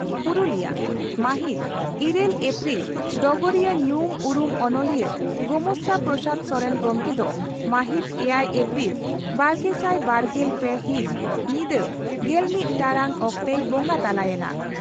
ᱯᱩᱨᱩᱞᱤᱭᱟᱹ ᱢᱟᱦᱤᱛ ᱤᱨᱟᱹᱞ ᱟᱯᱨᱤᱞ ᱰᱚᱜᱚᱨᱤᱭᱟᱹ ᱧᱩᱢ ᱩᱨᱩᱢ ᱚᱱᱚᱞᱤᱭᱟᱹ ᱜᱚᱢᱟᱥᱛᱟ ᱯᱨᱚᱥᱟᱫᱽ ᱥᱚᱨᱮᱱ ᱜᱚᱢᱠᱮ ᱫᱚ ᱢᱟᱦᱤᱛ ᱮᱭᱟᱭ ᱟᱯᱨᱤᱞ ᱵᱟᱨᱜᱮᱥᱟᱭ ᱵᱟᱨᱜᱮᱞ ᱯᱮ ᱦᱤᱛ ᱧᱤᱫᱟᱹ ᱜᱮᱞᱢᱤᱛ ᱴᱟᱬᱟᱝ ᱚᱠᱛᱮᱭ ᱵᱚᱸᱜᱟ ᱛᱟᱞᱟ ᱭᱮᱱᱟ ᱾